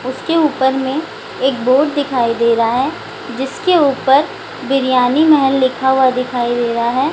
उसके ऊपर में एक बोर्ड दिखाई दे रहा है जिसके ऊपर बिरयानी महल लिखा हुवा है।